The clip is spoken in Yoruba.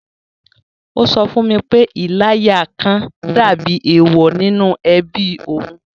Ó sọ fún mi pé “. Ìláya kan” dàbí èèwọ̀ nínú ẹbí òun